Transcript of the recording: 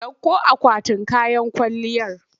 Ɗauko akwatin kayan kwalliyar!